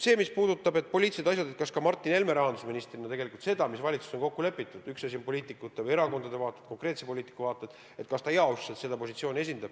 Mis puudutab seda, kas Martin Helme rahandusministrina esindab tegelikult positsiooni, mis valitsuses on kokku lepitud, siis üks asi on konkreetsete poliitikute või erakondade vaated, teine asi riigi positsioon.